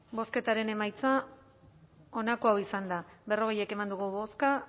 bozketaren emaitza onako izan da berrogeita bat eman dugu bozka